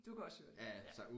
Du kan også høre det ja